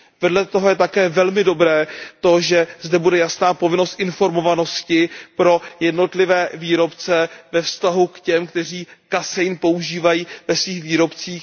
Vedle toho je také velmi dobré, že zde bude jasná povinnost informovanosti pro jednotlivé výrobce ve vztahu k těm, kteří kasein používají ve svých výrobcích.